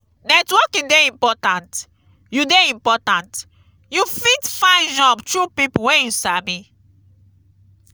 networking dey important; you dey important; you fit find job through pipo wey you sabi.